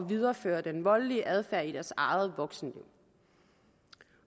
videreføre den voldelige adfærd i deres eget voksenliv